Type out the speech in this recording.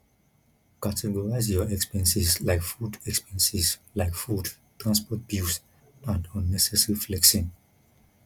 categorize your expenses like food expenses like food transport bills and unnecessary flexing